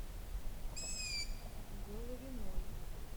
головиной